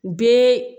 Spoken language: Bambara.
Bɛɛ